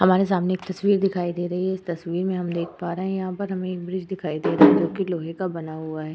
हमारे सामने एक तस्वीर दिखाई दे रही है। इस तस्वीर में हम देख पा रहे है यहाँ पे हमे एक ब्रिज दिखाई दे रहा है जोकि लोहे का बना हुआ है।